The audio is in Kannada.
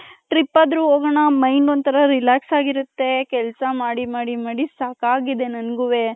trip ಅದ್ರು ಹೋಗಣ mind ಒಂತರ relax ಆಗಿರುತ್ತೆ ಕೆಲಸ ಮಾಡಿ ಮಾಡಿ ಸಾಕಾಗಿದೆ ನನ್ಗುವೆ .